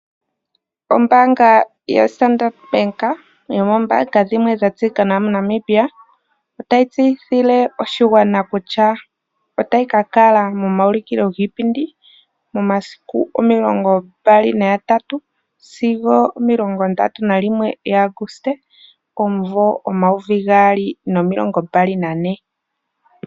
Ombaanga yo Standard oyo ombaanga dhimwe dha tseyika nawa mo Namibia otayi tseyithile oshigwana kutya otayi kakala momaulikilo giipindi momasiku omilongo ndatu sigo omilongo ndatu nalilwe lya Aguste omumvo omayovi gaali nomilongo mbali nane.